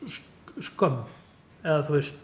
skömm eða þú veist